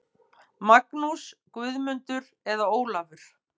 Magnús, Guðmundur eða Ólafur.